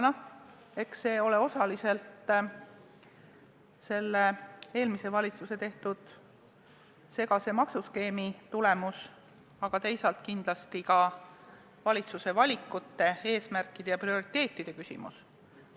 Eks see ole osaliselt eelmise valitsuse tehtud segase maksuskeemi tulemus, aga teisalt kindlasti ka valitsuse valikute, eesmärkide ja prioriteetide tulemus.